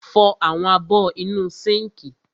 Fọ àwọn abọ́ inú sínkì.